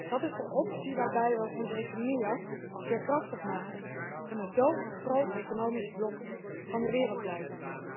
Dat is de optie waarbij we onze economieën veerkrachtig maken, en we zo een groot economisch blok van de wereld blijven.